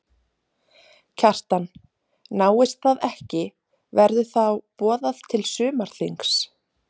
Kjartan: Náist það ekki verður þá boðað til sumarþings?